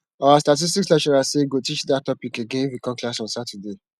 our statistics lecturer say he go teach dat topic again if we come class on saturday